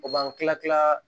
O b'an kila kila